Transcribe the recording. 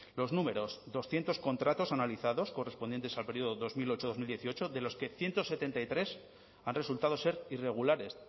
los números doscientos contratos analizados correspondientes al periodo dos mil ocho dos mil dieciocho de los que ciento setenta y tres han resultado ser irregulares